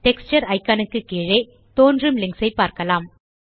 texture icon க்கு கீழே தோன்றும் லிங்க்ஸ் ஐ பார்க்கலாம்